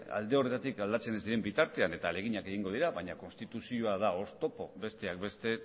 alde horretatik aldatzen ez diren bitartean eta ahaleginak egingo dira baina konstituzioa da oztopo besteak beste